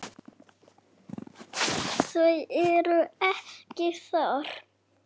Þau eru ekki þar.